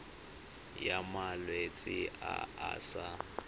ya malwetse a a sa